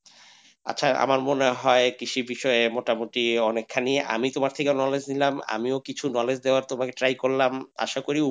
আচ্ছা আমার মনে হয় কৃষি বিষয়ে মোটামুটি অনেকখানি আমি তোমার থেকে knowledge নিলাম আমি কিছু knowledge দেওয়ার try করলাম আশা করি,